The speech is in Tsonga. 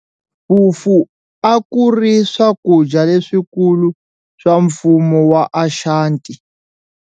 Fufu a ku ri swakudya leswikulu swa Mfumo wa Ashanti.